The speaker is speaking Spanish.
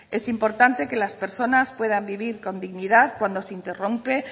es importante que las personas puedan vivir con dignidad cuando se interrumpe